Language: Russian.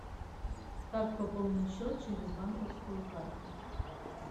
как пополнить счет через банковскую карту